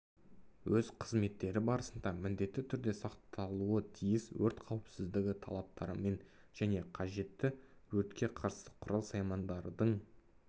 өз қызметтері барысында міндетті түрде сақталуы тиіс өрт қауіпсіздігі талаптарымен және қажетті өртке қарсы құрал-саймандардың